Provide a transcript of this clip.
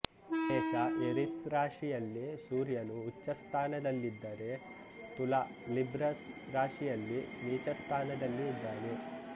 ಮೇಷ ಏರೀಸ್ರಾಶಿಯಲ್ಲಿ ಸೂರ್ಯನು ಉಚ್ಚ ಸ್ಥಾನದಲ್ಲಿದ್ದರೆ ತುಲಾ ಲಿಬ್ರಾ ರಾಶಿಯಲ್ಲಿ ನೀಚಸ್ಥಾನದಲ್ಲಿ ಇದ್ದಾನೆ